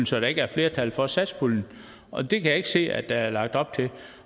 så der ikke er flertal for satspuljen og det kan jeg ikke se at der er lagt op til